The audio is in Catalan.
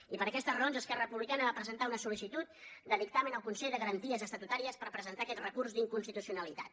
i per aquestes raons esquerra republicana va presentar una sol·licitud de dictamen al consell de garanties estatutàries per presentar aquest recurs d’inconstitucionalitat